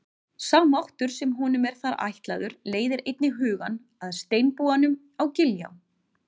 Sá máttur sem honum er þar ætlaður leiðir einnig hugann að steinbúanum á Giljá.